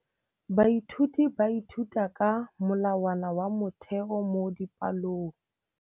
Baithuti ba ithuta ka molawana wa motheo mo dipalong.